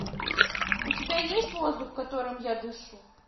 у тебя есть воздух которым я дышу